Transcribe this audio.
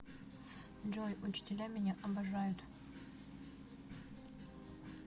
джой учителя меня обожают